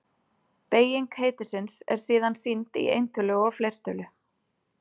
Beyging heitisins er síðan sýnd í eintölu og fleirtölu.